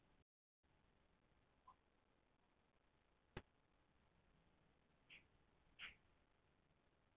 á fósturskeiði mótar fyrir tönnum í skíðishvölum en við fæðingu hafa tennurnar horfið